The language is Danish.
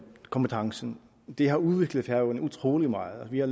kompetencen har udviklet færøerne utrolig meget vi har